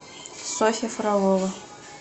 софья фролова